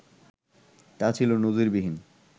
তা ছিল নজিরবিহীন